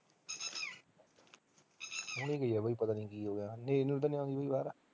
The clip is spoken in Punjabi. ਹੁਣੇ ਗਈ ਐ ਬਾਈ ਪਤਾ ਨੀ ਕੀ ਹੋ ਗਿਆ ਹਨੇਰੀ ਹਨੁਰੀ ਤਾਂ ਨੀ